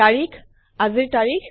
তাৰিখ আজিৰ তাৰিখ